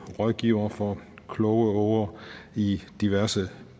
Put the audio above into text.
rådgivning fra klogeåger i diverse